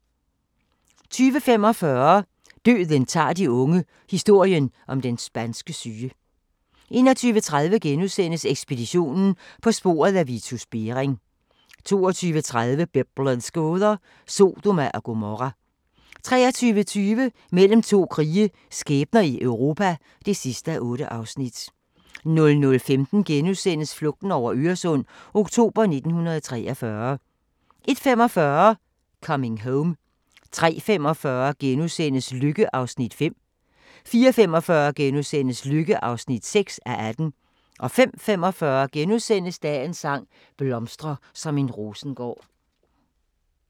20:45: Døden tager de unge – historien om den spanske syge 21:30: Ekspeditionen - på sporet af Vitus Bering * 22:30: Biblens gåder – Sodoma og Gomorra 23:20: Mellem to krige – skæbner i Europa (8:8) 00:15: Flugten over Øresund – oktober 1943 * 01:45: Coming Home 03:45: Lykke (5:18)* 04:45: Lykke (6:18)* 05:45: Dagens sang: Blomstre som en rosengård *